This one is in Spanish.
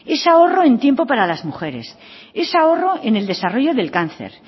es ahorro en tiempo para las mujeres es ahorro en el desarrollo del cáncer